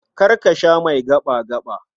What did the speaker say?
Kar ka sha mai gaɓa-gaɓa.